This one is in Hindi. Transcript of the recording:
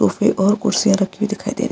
उसपे और कुर्सियां रखी हुई दिखाई दे रही --